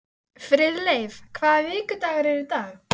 Það er ekki fögur sjón sem blasir við.